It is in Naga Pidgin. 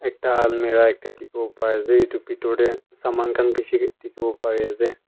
ekta almirah ekta dikhi wo pari ase etu pitor te saman khan bishi dikhi wo pari ase.